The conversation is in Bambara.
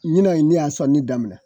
Ɲinɛ ne y'a sɔni daminɛ.